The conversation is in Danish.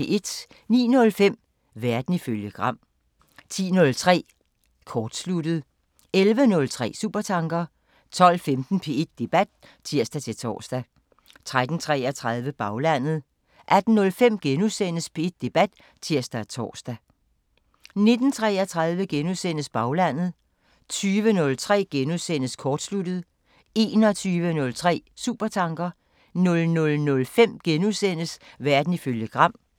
09:05: Verden ifølge Gram 10:03: Kortsluttet 11:03: Supertanker 12:15: P1 Debat (tir-tor) 13:33: Baglandet 18:05: P1 Debat *(tir-tor) 19:33: Baglandet * 20:03: Kortsluttet * 21:03: Supertanker 00:05: Verden ifølge Gram *